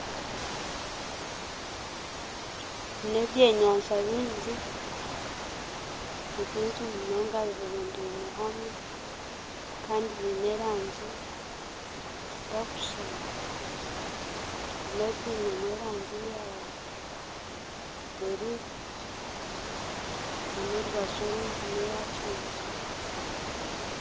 N'ebyenyanja byingi, nibyingi munonga birundaine hamwe kandi byine erangi zitakushuushana ebimwe byinemu erangi ya buruu na n'orubaju orundi neeya kinekye.